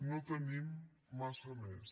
no tenim massa més